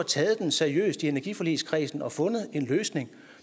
taget den seriøst i energiforligskredsen og fundet en løsning